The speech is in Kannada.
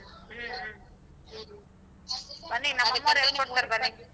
ಹ್ಮ್ ಹ್ಮ್. ಬನ್ನಿ ನಮ್ ಹೇಳ್ ಕೊಡ್ತಾರೆ ಬನ್ನಿ.